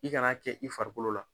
I ka na kɛ i farikolo la.